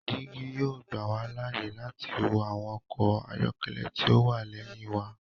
Digi yoo gbà wa láàyè láti wo awọn ọkọ ayọkẹlẹ ti o wá lẹhin wà